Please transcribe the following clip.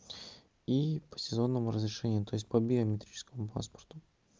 и по сезонному разрешению то есть по биометрическому паспорту